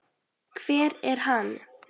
hver er hann?